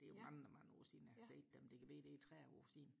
det er mange mange år siden jeg har set dem det kan være det er tredive år siden